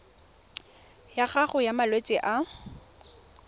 ya gago ya malwetse a